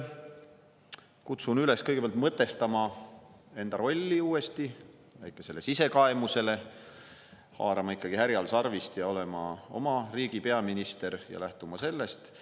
Kutsun kõigepealt üles mõtestama enda rolli uuesti, väikesele sisekaemusele, haarama härjal sarvist ning olema oma riigi peaminister ja lähtuma sellest.